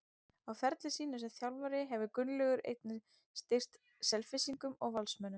Á ferli sínum sem þjálfari hefur Gunnlaugur einnig stýrt Selfyssingum og Valsmönnum.